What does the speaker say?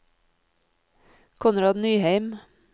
Konrad Nyheim